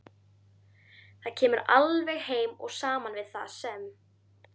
Það kemur alveg heim og saman við það sem